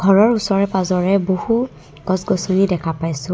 ঘৰৰ উচৰে পাজৰে বহু গছ গছনি দেখা পাইছোঁ।